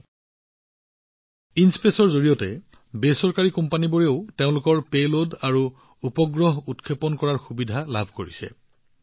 বেচৰকাৰী কোম্পানীবোৰেও আইএনস্পেচৰ জৰিয়তে তেওঁলোকৰ পেলোড আৰু উপগ্ৰহ উৎক্ষেপণ কৰাৰ সুবিধা লাভ কৰিছে